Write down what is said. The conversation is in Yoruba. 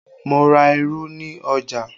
Mo ra irú ni ọjà